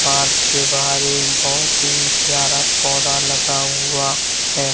Park के बाहर एक बहुत ही प्यारा पौधा लगा हुआ है।